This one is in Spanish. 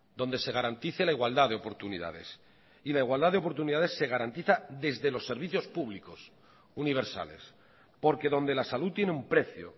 donde se garantice la igualdad de oportunidades y la igualdad de oportunidades se garantiza desde los servicios públicos universales porque donde la salud tiene un precio